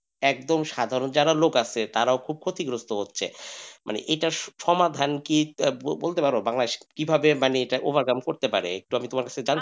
একদম সাধারণ যারা লোক আছে তারা খুব ক্ষতিগ্রস্ত হচ্ছে মানে এইটার সমাধান কি বলতে পারো বাংলাদেশ কি ভাবে overcome করতে পারে একটু তোমার কাছ থেকে জানতে চাচ্ছিলাম।